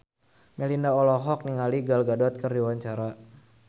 Melinda olohok ningali Gal Gadot keur diwawancara